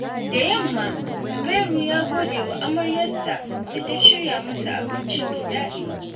Da yamma, Zubairu ya gode wa amaryarsa da ta shirya masa abinci mai daɗi.